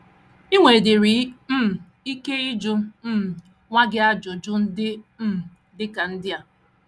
I nwedịrị um ike ịjụ um nwa gị ajụjụ ndị um dị ka ndị a: